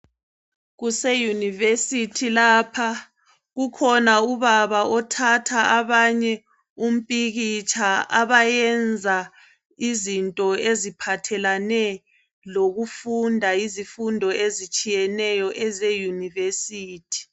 Kuse University lapha , kukhona ubaba othatha abanye umpikitsha abayenza izinto eziphathelane lokufunda izifundo ezitshiyeneyo eze University.